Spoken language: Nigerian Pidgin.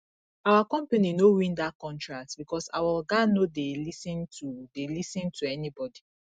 our company no win dat contract because our oga no dey lis ten to dey lis ten to anybodi